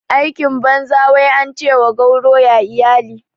Aikin banza wai ance wa gauro ya iyali